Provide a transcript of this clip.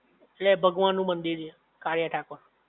લે ભગવાન નું મંદિર છે કાળીયા ઠાકોર